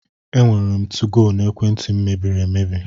Enwere m 2go n'ekwenti m mebiri emebi.